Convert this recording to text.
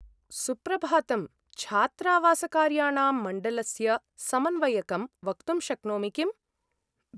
सुप्रभातम्, छात्रावासकार्याणां मण्डलस्य समन्वयकं वक्तुं शक्नोमि किम्?